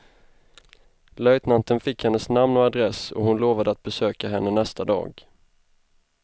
Löjtnanten fick hennes namn och adress, och hon lovade att besöka henne nästa dag.